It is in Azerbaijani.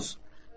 Gərək verəsən.